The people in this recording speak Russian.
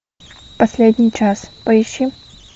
последний час поищи